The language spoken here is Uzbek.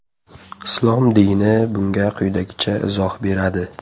Islom dini bunga quyidagicha izoh beradi.